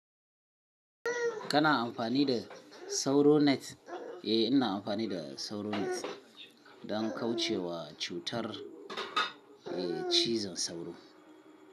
Kana amfani da sauro net? Eh, ina amfani da sauro net don kauce wa cutar, eh, cizon sauro.